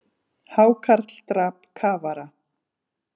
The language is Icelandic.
Hákarl drap kafara